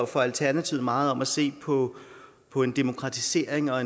for alternativet meget om at se på på en demokratisering og